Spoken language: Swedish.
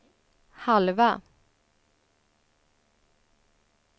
halva